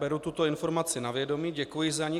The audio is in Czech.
Beru tuto informaci na vědomí, děkuji za ni.